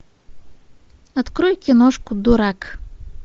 открой киношку дурак